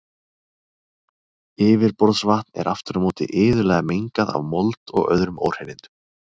Yfirborðsvatn er aftur á móti iðulega mengað af mold og öðrum óhreinindum.